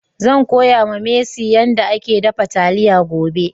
Zan koya ma mercy yan da ake dafa taliya gobe.